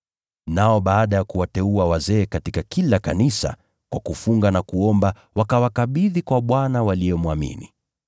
Nao baada ya kuwateua wazee katika kila kanisa, kwa kufunga na kuomba wakawakabidhi kwa Bwana waliyemwamini.